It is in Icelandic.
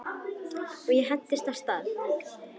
Og ég hentist af stað.